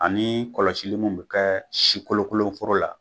Ani kɔlɔsili mun be kɛ si kolokolon foro la.